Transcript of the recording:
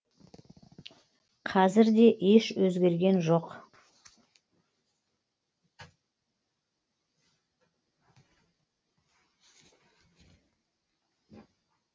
қазір де еш өзгерген жоқ